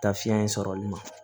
Taa fiɲɛ in sɔrɔli ma